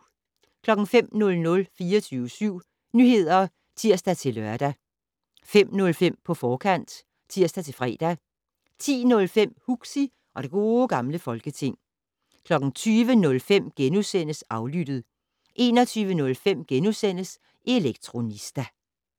05:00: 24syv Nyheder (tir-lør) 05:05: På forkant (tir-fre) 10:05: Huxi og det Gode Gamle Folketing 20:05: Aflyttet * 21:05: Elektronista *